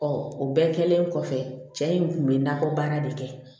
o bɛɛ kɛlen kɔfɛ cɛ in kun bɛ nakɔ baara de kɛ